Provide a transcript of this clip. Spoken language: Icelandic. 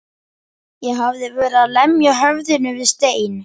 Ég hafði verið að lemja höfðinu við stein.